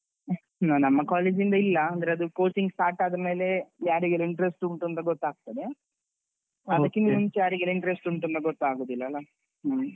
ನಮ್ಮ college ಇಂದ ಇಲ್ಲ, ಅಂದ್ರೆ ಅದು coaching start ಆದ್ಮೇಲೆ ಯಾರಿಗೆಲ್ಲ interest ಉಂಟೂಂತ ಗೊತ್ತಾಗ್ತದೆ ಅದ್ಕಿಂತ ಮುಂಚೆ ಯಾರಿಗೆಲ್ಲ interest ಉಂಟೂಂತ ಗೊತ್ತಾಗುದಿಲ್ಲಲ್ಲ ಹ್ಮ್.